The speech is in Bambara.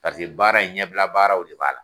Paseke baara in ɲɛbila baaraw de b'a la.